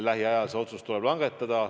Lähiajal see otsus tuleb langetada.